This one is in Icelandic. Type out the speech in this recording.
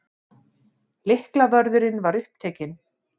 Lyklavörðurinn var upptekinn.